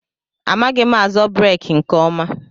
Amaghị m azọ breeki nke ọma.